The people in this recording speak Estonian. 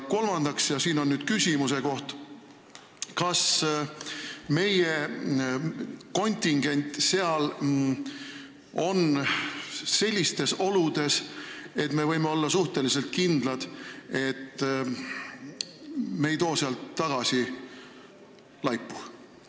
Minu küsimus aga on: kas meie kontingent on seal sellistes oludes, et me võime olla suhteliselt kindlad, et me ei too sealt tagasi laipu?